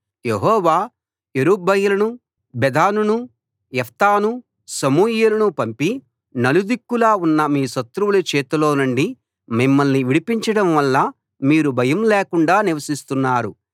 యెహోవా యెరుబ్బయలును బెదానును యెఫ్తాను సమూయేలును పంపి నలుదిక్కులా ఉన్న మీ శత్రువుల చేతిలో నుండి మిమ్మల్ని విడిపించడం వల్ల మీరు భయం లేకుండా నివసిస్తున్నారు